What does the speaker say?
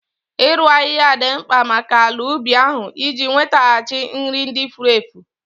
Ịru ahịhịa dị mkpa maka ala ubi ahụ iji nwetaghachi nri ndị furu efu